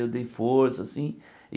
Eu dei força, assim.